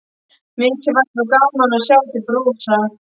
Mikið væri þá gaman að sjá þig brosa!